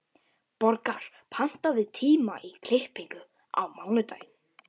Borgar, pantaðu tíma í klippingu á mánudaginn.